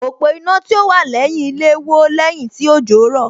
Òpó iná tí ó wà lẹ́yìn ilé wó lẹ́yìn tí òjò rọ̀